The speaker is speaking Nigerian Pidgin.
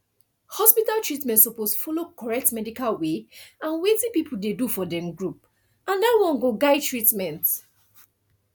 hospital treatment suppose follow correct medical way and wetin people dey do for dem group and that one go guide treatment